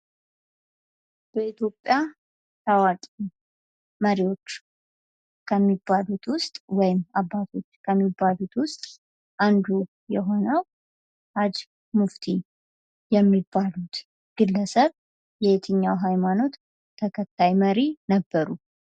በኢትዮጵያ ታዋቂ መሪዎች ወይም አባቶች ከሚባሉት ውስጥ አንዱ የሆነው ሃጅ ሙፍቲ የሚባሉት ግለሰብ የትኛው ሃይማኖት ተከታይ መሪ ነበሩ?